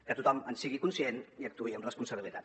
que tothom en sigui conscient i actuï amb responsabilitat